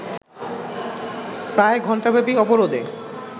প্রায় ঘন্টাব্যাপী অবরোধে